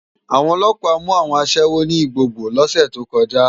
Awòn òlòpá mú áwòn aṣèwó ni Igbogbo lòsè tókòjá